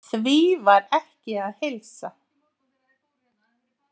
Því var ekki að heilsa.